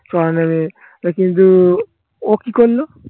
কিন্তু ও কি করল